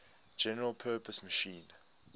general purpose machine